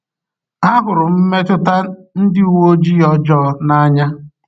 Ahụrụ m mmetụta ndị uwe ojii ọjọọ n’anya.